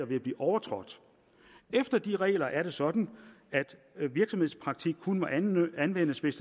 vil blive overtrådt efter de regler er det sådan at virksomhedspraktik kun må anvendes hvis